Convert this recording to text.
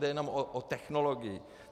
Jde jenom o technologii.